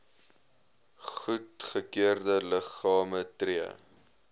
goedgekeurde liggame tree